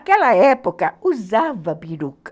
Naquela época, usava peruca.